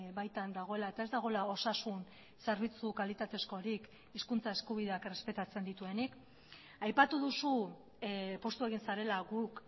baitan dagoela eta ez dagoela osasun zerbitzu kalitatezkorik hizkuntza eskubideak errespetatzen dituenik aipatu duzu poztu egin zarela guk